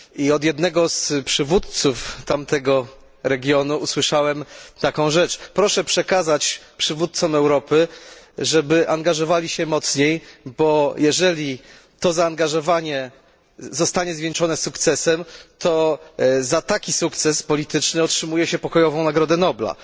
Od jednego z przywódców tamtego regionu usłyszałem taką rzecz Proszę przekazać przywódcom Europy, żeby angażowali się mocniej, bo jeżeli to zaangażowanie zostanie zwieńczone sukcesem, to za taki sukces polityczny otrzymuje się pokojową nagrodę Nobla.